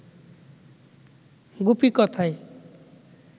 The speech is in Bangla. গুপি কথায়